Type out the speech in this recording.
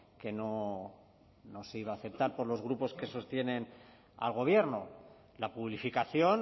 que no se iba a aceptar por los grupos que sostienen al gobierno la publificación